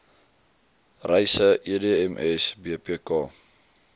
reise edms bpk